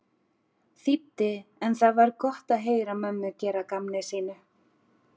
þýddi en það var gott að heyra mömmu gera að gamni sínu.